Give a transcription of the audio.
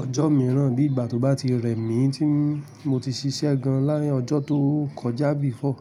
ọjọ́ mìíràn bí ìgbà tó bá ti rẹ mí tí mo ti ṣiṣẹ́ gan lá ọjọ́ tó kọjá before.